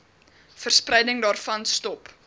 verspreiding daarvan stop